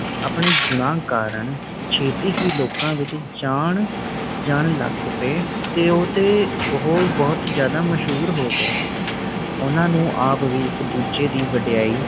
ਆਪਣੇ ਗੁਣਾ ਕਾਰਣ ਛੇਤੀ ਹੀ ਲੋਕਾਂ ਵਿਚ ਜਾਣ ਜਾਨਣ ਲੱਗ ਪਏ ਤੇ ਉਹ ਤੇ ਉਹ ਬੋਹੋਤ ਜ਼ਿਆਦਾ, ਮਸ਼ਹੂਰ ਹੋ ਗਏ ਓਹਨਾ ਨੂੰ ਆਪ ਵੀ ਏਕੇ ਦੂਜੇ ਦੀ ਵਡਿਆਈ